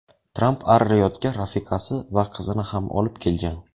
Tramp Ar-Riyodga rafiqasi va qizini ham olib kelgan.